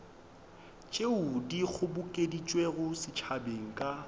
tšeo di kgobokeditšwego setšhabeng ka